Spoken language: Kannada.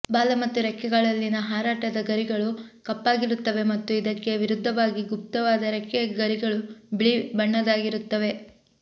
ಬಾಲ ಮತ್ತು ರೆಕ್ಕೆಗಳಲ್ಲಿನ ಹಾರಾಟದ ಗರಿಗಳು ಕಪ್ಪಾಗಿರುತ್ತವೆ ಮತ್ತು ಇದಕ್ಕೆ ವಿರುದ್ಧವಾಗಿ ಗುಪ್ತವಾದ ರೆಕ್ಕೆ ಗರಿಗಳು ಬಿಳಿ ಬಣ್ಣದ್ದಾಗಿರುತ್ತವೆ